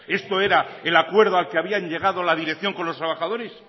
esto era el acuerdo al que había llegado la dirección con los trabajadores